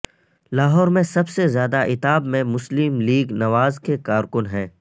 لاہور میں سب سے زیادہ عتاب میں مسلم لیگ نواز کے کارکن ہیں